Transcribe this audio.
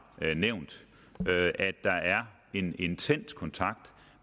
nævnt at der er en intens kontakt